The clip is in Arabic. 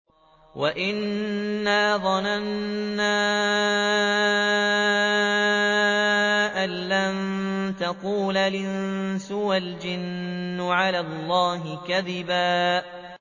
وَأَنَّا ظَنَنَّا أَن لَّن تَقُولَ الْإِنسُ وَالْجِنُّ عَلَى اللَّهِ كَذِبًا